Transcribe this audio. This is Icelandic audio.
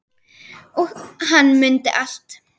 Og hann mundi allt.